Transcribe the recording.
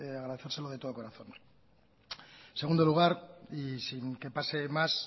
agradecérselo de todo corazón en segundo lugar y sin que pase más